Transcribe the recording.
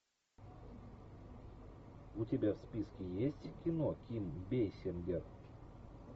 у тебя в списке есть кино ким бейсингер